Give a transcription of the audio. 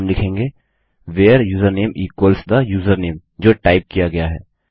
और हम लिखेंगे where username equals the username जो टाइप किया गया है